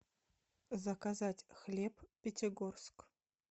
заказать хлеб пятигорск